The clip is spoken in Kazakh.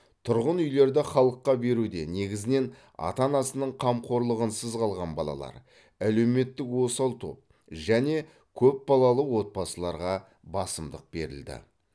тұрғын үйлерді халыққа беруде негізінен ата анасының қамқорлығынсыз қалған балалар әлеуметтік осал топ және көпбалалы отбасыларға басымдық берілді